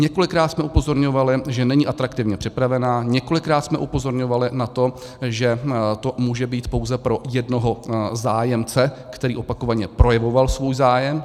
Několikrát jsme upozorňovali, že není atraktivně připravená, několikrát jsme upozorňovali na to, že to může být pouze pro jednoho zájemce, který opakovaně projevoval svůj zájem.